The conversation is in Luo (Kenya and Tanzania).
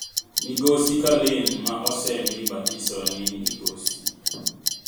Migosi Kalin, ma osemi batiso ni "Migosi.